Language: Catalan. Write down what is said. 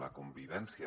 la convivència